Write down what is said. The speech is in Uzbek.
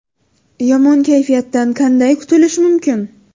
Yomon kayfiyatdan qanday qutulish mumkin?.